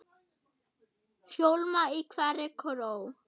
hljóma í hverri kró.